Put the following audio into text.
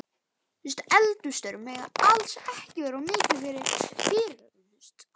Eldhússtörfin mega alls ekki verða of mikil fyrirhöfn.